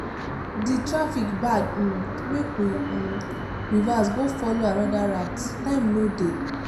the traffic bad um make we um reverse go follow another route time no dey.